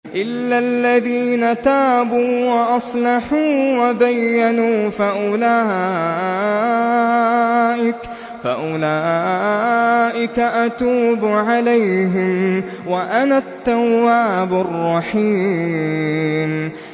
إِلَّا الَّذِينَ تَابُوا وَأَصْلَحُوا وَبَيَّنُوا فَأُولَٰئِكَ أَتُوبُ عَلَيْهِمْ ۚ وَأَنَا التَّوَّابُ الرَّحِيمُ